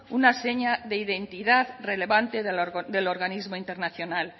una seña de identidad relevante del organismo internacional